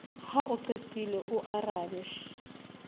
ha o qetile o arabe